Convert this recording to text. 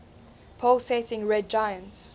pulsating red giant